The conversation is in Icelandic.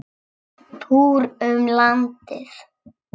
Túr um landið.